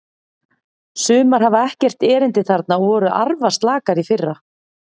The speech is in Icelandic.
Sumar hafa ekkert erindi þarna og voru arfaslakar í fyrra.